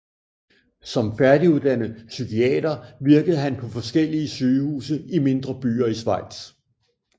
Som færdiguddannet psykiater virkede han på forskellige sygehuse i mindre byer i Schweiz